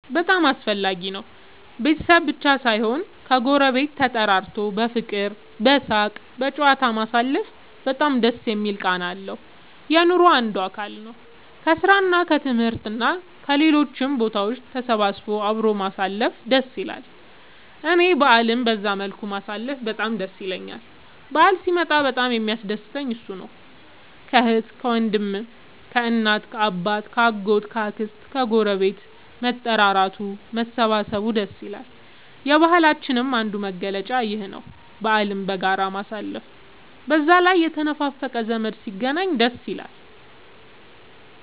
በጣም አስፈላጊ ነው ቤተሰብ ብቻ ሳይሆን ከ ጎረቤት ተጠራርቶ በፍቅር በሳቅ በጨዋታ ማሳለፉ በጣም ደስ የሚል ቃና አለው። የኑሮ አንዱ አካል ነው። ከስራ እና ከትምህርት እና ከሌሎችም ቦታ ተሰብስቦ አብሮ ማሳለፍ ደስ ይላል እኔ በአልን በዛ መልኩ ማሳለፍ በጣም ደስ ይለኛል በአል ሲመጣ በጣም የሚያስደስተኝ እሱ ነው። ከአህት ከወንድም ከእናት ከአባት ከ አጎት ከ አክስት ከግረቤት መጠራራቱ መሰባሰብ ደስ ይላል። የባህላችንም አንዱ መገለጫ ይኽ ነው በአልን በጋራ ማሳለፍ። በዛ ላይ የተነፋፈቀ ዘመድ ሲገናኝ ደስ ይላል